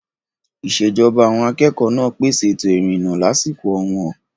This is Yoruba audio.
Ìṣèjọba àwọn akẹ́kọ̀ọ́ náà pèsè ètò ìrìnnà lásìkò ọ̀wọ́n.